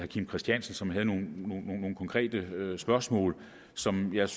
kim christiansen som havde nogle konkrete spørgsmål som jeg